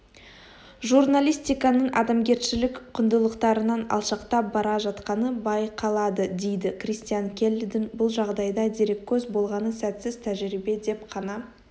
журналистиканың адамгершілік құндылықтарынан алшақтап бара жатқаны байқаладыдейді кристиан келлидің бұл жағдайда дереккөз болғаны сәтсіз тәжірибе деп қана